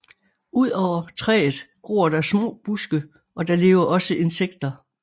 Udover træet gror der små buske og der lever også insekter